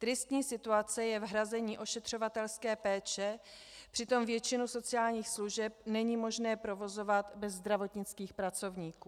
Tristní situace je v hrazení ošetřovatelské péče, přitom většinu sociálních služeb není možné provozovat bez zdravotnických pracovníků.